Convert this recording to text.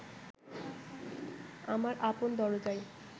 আমার আপন দরজায়